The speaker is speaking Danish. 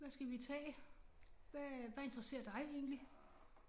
Hvad skal vi tage? Hvad øh hvad interesserer dig egentlig